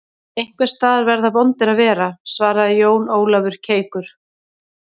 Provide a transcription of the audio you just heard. Einhvers staðar verða vondir að vera, svaraði Jón Ólafur keikur.